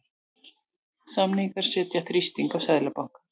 Samningar setja þrýsting á Seðlabanka